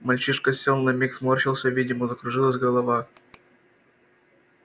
мальчишка сел на миг сморщился видимо закружилась голова